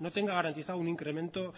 no tenga garantizado un incremento